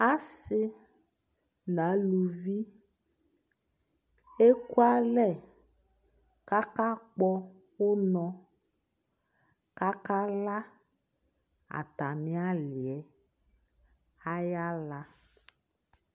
asii nʋ alʋvi ɛkʋ alɛ kʋ aka kpɔ ɔnɔ kʋ aka la atani aliɛ ayi ala